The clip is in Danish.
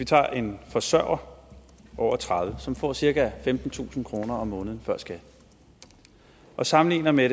tage en forsørger over tredive år som får cirka femtentusind kroner måneden før skat og sammenligne med